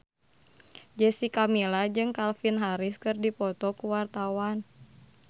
Jessica Milla jeung Calvin Harris keur dipoto ku wartawan